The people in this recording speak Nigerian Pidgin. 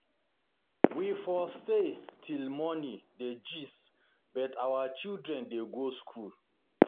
We for stay till morning dey gist but our children dey go school